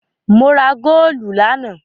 Mo ra góólù lánàá.